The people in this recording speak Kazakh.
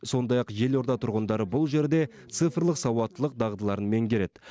сондай ақ елорда тұрғындары бұл жерде цифрлық сауаттылық дағдыларын меңгереді